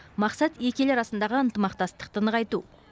мақсат екі ел арасындағы ынтымақтастықты нығайту